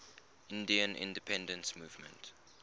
indian independence movement